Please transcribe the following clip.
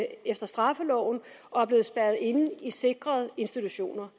efter straffeloven og er blevet spærret inde i sikrede institutioner